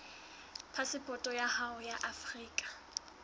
phasepoto ya hao ya afrika